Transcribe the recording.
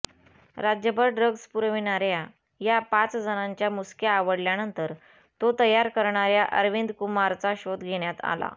राज्यभर ड्रग्ज पुरविणाऱ्या या पाचजणांच्या मुसक्या आवळल्यानंतर तो तयार करणाऱया अरविंदकुमारचा शोध घेण्यात आला